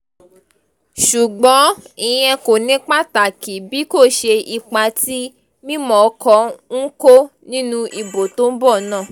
ṣùgbọ́n ìyẹn kò ní pàtàkì bí kò ṣe ipa tí mímọ́kọ ń kó nínú ìbò tó ń bọ̀ náà